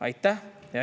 Aitäh!